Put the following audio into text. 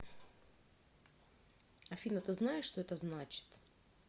афина ты знаешь что это значит